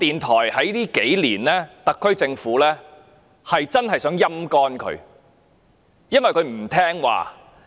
在這數年間，我認為特區政府真的想將港台"陰乾"，因其不聽話。